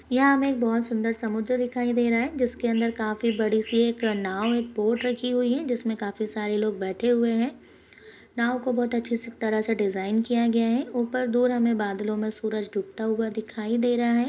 यहाँ हमे एक बहुत सुन्दर समुद्र दिखाई दे रहा है जिसके अंदर काफी बड़ी सी एक नाव एक बोट रखी हुई है जिसमे काफी सारे लोग बैठे हुए है नाव को बहुत अच्छीसी तरह से डिज़ाइन किया गया है ऊपर डोर हमे बादलो में सूरज डूबता हुआ दिखाई दे रहा है।